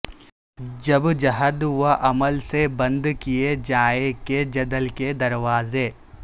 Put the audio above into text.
جب جہد و عمل سے بند کیے جائیں کے جدل کے دروازے